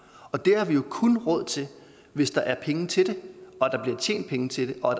og det har vi jo kun råd til hvis der er penge til det og tjent penge til det og